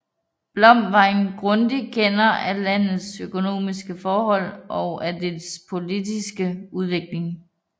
Blom var en grundig kender af landets økonomiske forhold og af dets politiske udvikling